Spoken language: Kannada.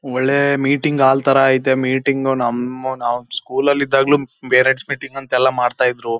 ಒಳ್ಳೆ ಮೀಟಿಂಗ್ ಹಾಲ್ ತರ ಐತೆ. ಮೀಟಿಂಗ್ ನಮ್ಮ್ ನಾವು ಸ್ಕೂಲ್ ಲ್ಲಿ ಇದ್ದಾಗಲೂ ಪೇರೆಂಟ್ಸ್ ಮೀಟಿಂಗ್ ಅಂತ ಮಾಡ್ತಾ ಇದ್ರೂ.